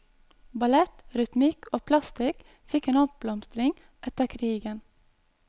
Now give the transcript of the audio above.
Ballett, rytmikk og plastikk fikk en oppblomstring etter krigen.